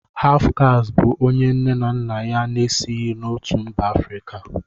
Hafụkastị bụ onye nne na nna ya na-esighi n'otu mba Afrịka